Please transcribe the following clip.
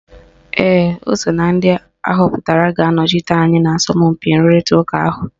Ee, ọ so na ndị ahọpụtara ga-anọchite anyị na asọmpi nrụrịta ụka ahụ.